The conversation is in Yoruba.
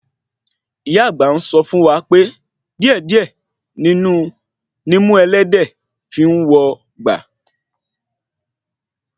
Ìyá àgbà ń sọ fún wa pé díè díè nimú ẹlẹ́dẹ̀ẹ́ fi ń wò gba